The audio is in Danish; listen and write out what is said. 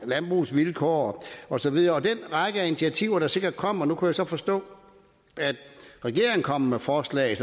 landbrugets vilkår og så videre den række af initiativer der sikkert kommer nu kunne jeg så forstå at regeringen kommer med forslag